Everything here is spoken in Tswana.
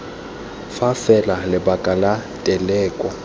fa fela lebaka la teleko